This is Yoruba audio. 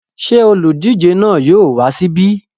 Ṣé olùdíje náà yóò wá síbí?